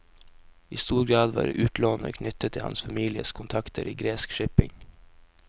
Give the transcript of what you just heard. I stor grad var utlånene knyttet til hans families kontakter i gresk shipping.